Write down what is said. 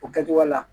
O kɛcogoya la